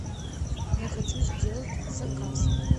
я хочу сделать заказ